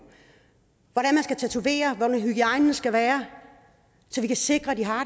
hvordan man skal tatovere hvordan hygiejnen skal være så vi kan sikre at de har